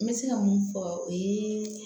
N bɛ se ka mun fɔ o ye